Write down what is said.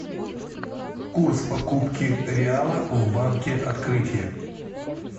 курс покупки реала в банке открытие